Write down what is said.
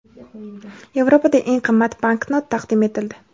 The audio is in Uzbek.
Yevropada eng qimmat banknot taqdim etildi.